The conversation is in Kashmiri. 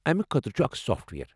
امہ خٲطرٕ چھ اکھ سافٹ وییر۔